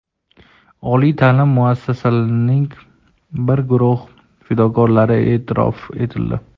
Oliy taʼlim muassasalarining bir guruh fidokorlari eʼtirof etildi.